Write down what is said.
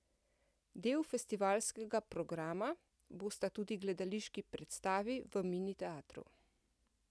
Del festivalskega programa bosta tudi gledališki predstavi v Mini teatru.